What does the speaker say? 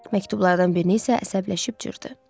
Məktublardan birini isə əsəbləşib cırdı.